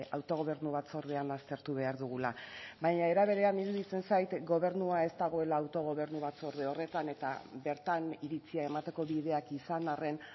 autogobernu batzordean aztertu behar dugula baina era berean iruditzen zait gobernua ez dagoela autogobernu batzorde horretan eta bertan iritzia emateko bideak izan arren